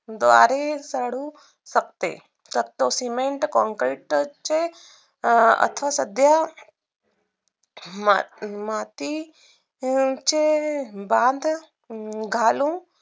बारिश अडू शकते शक्यतो cement, concrete चे आता सध्या माती याचे बांध घालू